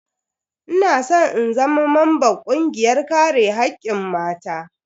Ina san in zama mamban kungiyar kare hakkin mata.